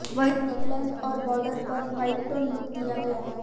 वहीं नेकलाइन और बार्डर पर व्हाइट टोन लुक दिया गया